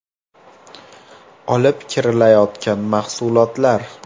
olib kirilayotgan mahsulotlar.